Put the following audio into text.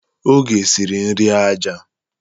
Oge siri nri aja.